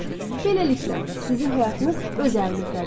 Beləliklə, sizin həyatınız öz əlinizdədir.